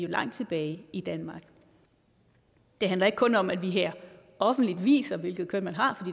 langt tibage i danmark det handler ikke kun om at vi her offentligt viser hvilket køn man har